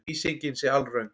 Lýsingin sé alröng